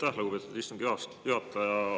Aitäh, lugupeetud istungi juhataja!